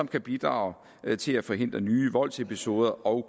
kan bidrage til at forhindre nye voldsepisoder og